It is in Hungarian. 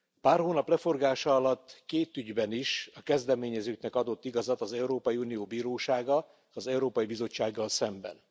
Pár hónap leforgása alatt két ügyben is a kezdeményezőknek adott igazat az Európai Unió Bírósága az Európai Bizottsággal szemben.